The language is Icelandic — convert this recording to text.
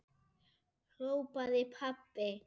hrópaði pabbi.